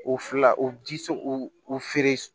O fila o ji o o feere